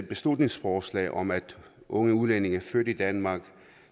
beslutningsforslag om at unge udlændinge født i danmark